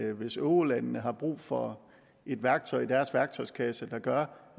at hvis eurolandene har brug for et værktøj i deres værktøjskasse der gør